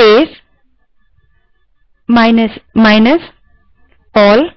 अबls space minus minus all type